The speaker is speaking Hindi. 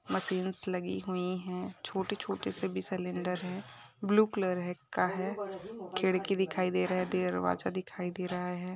मशिन्स लगी हुई है छोटी -छोटी सी भी सिलेंडर है ब्लू कलर है का है खिडकी दिखाई दे रहा दरवाजा दिखाई दे रहा है।